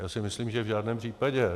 Já si myslím, že v žádném případě.